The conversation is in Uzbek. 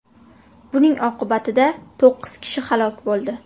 Buning oqibatida to‘qqiz kishi halok bo‘ldi.